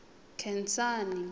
nkhensani